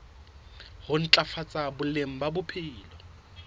ho ntlafatsa boleng ba bophelo